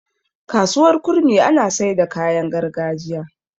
kasuwar kurmi ana Saida kayan gargajiya